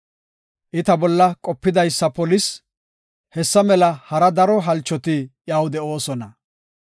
I ta bolla qopidaysa polis; hessa mela hara daro halchoti iyaw de7oosona.